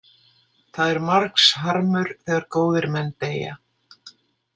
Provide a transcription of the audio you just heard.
Það er margs manns harmur þegar góðir menn deyja.